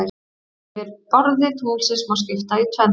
Yfirborði tunglsins má skipta í tvennt.